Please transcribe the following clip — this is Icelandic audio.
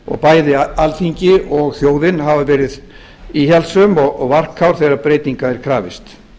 og bæði alþingi og þjóðin hafa verið íhaldssöm og varkár þegar breytinga er krafist